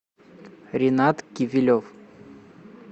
ренат кивилев